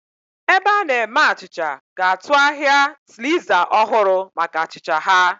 Ebe a na-eme achịcha ga-atụ ahịa sliza ọhụrụ maka achịcha ha.